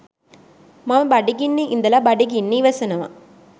මම බඩගින්නෙ ඉඳල බඩගින්න ඉවසනව.